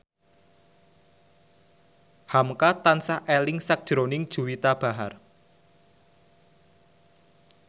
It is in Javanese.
hamka tansah eling sakjroning Juwita Bahar